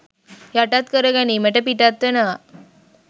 යටත් කරගැනීමට පිටත් වෙනවා